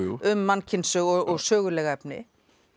um mannkynssögu og söguleg efni